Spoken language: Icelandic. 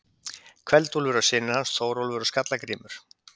Kveld-Úlfur og synir hans, Þórólfur og Skalla-Grímur.